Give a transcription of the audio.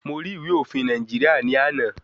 Mo rí ìwé òfin Nàìjíríà ní àná.